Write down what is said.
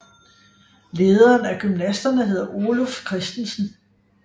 Lederen af gymnasterne hedder Oluf Kristensen